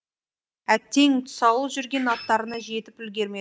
әттең тұсаулы жүрген аттарына жетіп үлгірмеді